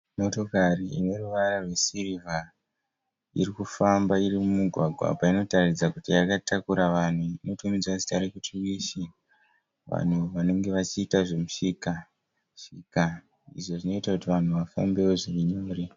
Motokare ineruvara rwesiriva irikufamba irimugwagwa apa inoratidza kuti yakatakura vanhu inotomedzwa zita rekuti wishi vanhu vanenge vechiita zvemishikashika, Izvinoita kuti vanhu vafambe wozvirinyore.